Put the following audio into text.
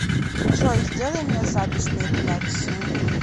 джой сделай мне запись на эпиляцию